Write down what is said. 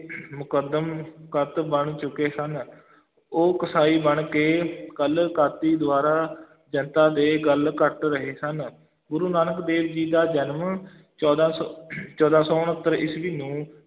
ਮੁਕੱਦਮ ਕਤ ਬਣ ਚੁੱਕੇ ਸਨ ਉਹ ਕਸਾਈ ਬਣ ਕੇ ਕਲ ਕਾਤੀ ਦੁਆਰਾ ਜਨਤਾ ਦੇ ਗੱਲ ਕਟ ਰਹੇ ਸਨ, ਗੁਰੂ ਨਾਨਕ ਦੇਵ ਜੀ ਦਾ ਜਨਮ ਚੋਦਾਂ ਸੌ ਚੌਦਾਂ ਸੌ ਉਣੱਤਰ ਈਸਵੀ ਨੂੰ